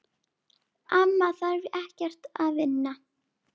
Amma þarf ekkert að vinna.